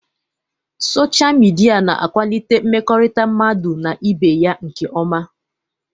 Sochaa midia na akwalite mmekọrịta mmadụ n'ibé ya nkeọma.